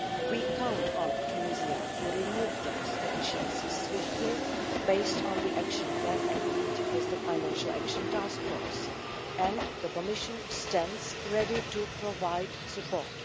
We count on Tunisia to remove those deficiencies swiftly, on the basis of the action plan agreed with the Financial Action Task Force, and the Commission stands ready to provide support.